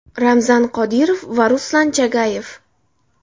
Ramzan Qodirov va Ruslan Chagayev.